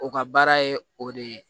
O ka baara ye o de ye